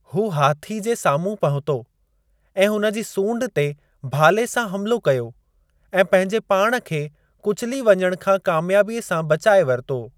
हू हाथी जे साम्हूं पहुतो ऐं हुन जी सूंड ते भाले सां हमलो कयो, ऐं पंहिंजे पाण खे कुचली वञणु खां कामयाबीअ सां बचाए वरितो।